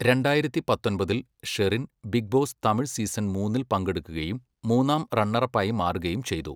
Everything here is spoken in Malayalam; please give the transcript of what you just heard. രണ്ടായിരത്തി പത്തൊമ്പതിൽ, Sherin Bigg Boss Tamil season മൂന്നിൽ പങ്കെടുക്കുകയും മൂന്നാം റണ്ണറപ്പായി മാറുകയും ചെയ്തു.